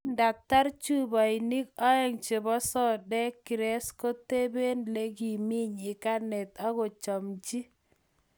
kindatar chupaik aeng chebo sodek krest koteben lekimii nyikanatet akochamchi